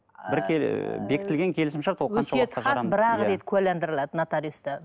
ы бір ыыы бекітілген келісімшарт ол бір ақ рет куәлендіріледі нотариуста